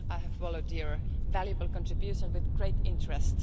I have followed your valuable contributions with great interest.